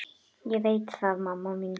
Ég veit það mamma mín.